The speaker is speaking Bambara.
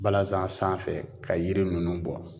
Balasan sanfɛ ka yiri ninnu bɔ